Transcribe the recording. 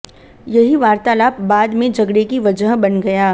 यही वार्तालाप बाद में झगड़े की वजह बन गया